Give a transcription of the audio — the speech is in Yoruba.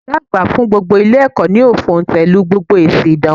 Ògá àgbà fún Ilé èkó yóò fòntèlu gbogbo èsi ìdánwò